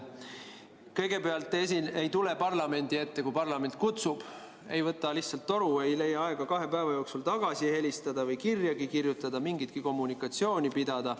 Kõigepealt te ei tule parlamendi ette, kui parlament kutsub, ei võta lihtsalt toru, ei leia aega kahe päeva jooksul tagasi helistada või kirjagi kirjutada, mingitki kommunikatsiooni pidada.